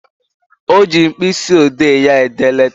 O ji mkpịsị odee ya ede leta